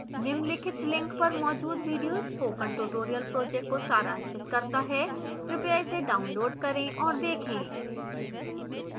निम्नलिखित link पर मौजूद video spoken tutorial project को सारांशित करता है